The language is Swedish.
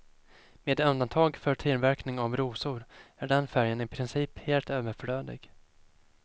Med undantag för tillverkning av rosor är den färgen i princip helt överflödig.